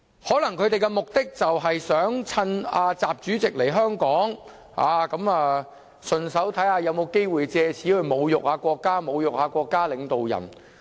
他們的目的可能是想趁習主席來香港，順便看看有否機會藉此侮辱國家和國家領導人。